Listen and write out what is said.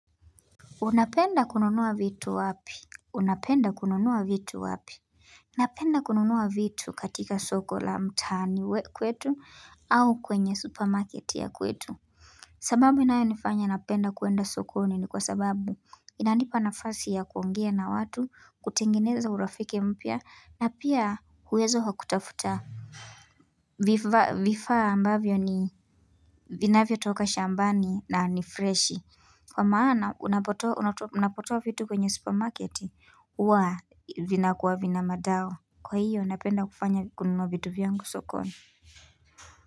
Unapenda kununua vitu wapi? Unapenda kununua vitu wapi? Napenda kununua vitu katika soko la mtani we kwetu au kwenye supermarket ya kwetu. Sababu inayo nifanya napenda kuenda soko unini kwa sababu inandipa na fasi ya kuongea na watu kutengineza urafike mpia na pia huwezo hakutafuta. Vifaa ambavyo ni binavyo toka shambani na nifreshi. Kwa maana unapotoa vitu kwenye supermarket wa vinakuwa vina madao kwa hiyo unapenda kufanya kununwa vitu vyangu sokoni.